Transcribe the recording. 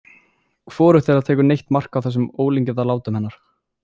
Hvorugt þeirra tekur neitt mark á þessum ólíkindalátum hennar.